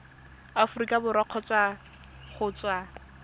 aforika borwa kgotsa go tswa